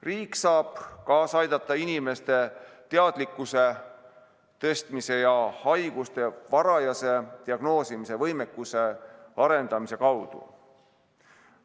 Riik saab kaasa aidata inimeste teadlikkuse tõstmise ja haiguste varajase diagnoosimise võimekuse arendamise kaudu.